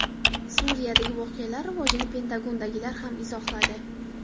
Suriyadagi voqealar rivojini Pentagondagilar ham izohladi.